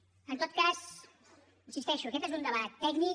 en tot cas hi insisteixo aquest és un debat tècnic